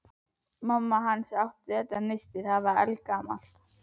Mamma hans átti þetta nisti, það er eldgamalt.